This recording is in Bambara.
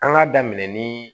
An k'a daminɛ ni